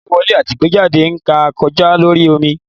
Igbẹ́wọlẹ atí igbejádẹ na ń kojá lorí omí